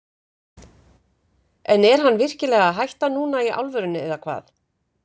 En er hann virkilega að hætta núna í alvörunni eða hvað?